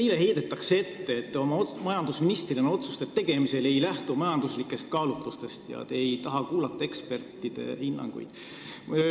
Teile heidetakse ette, et te majandusministrina otsuste tegemisel ei lähtu majanduslikest kaalutlustest ega taha kuulata ekspertide hinnanguid.